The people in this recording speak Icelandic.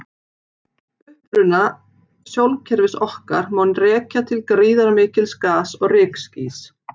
Uppruna sólkerfis okkar má rekja til gríðarmikils gas- og rykskýs.